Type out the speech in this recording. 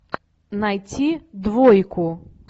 найти двойку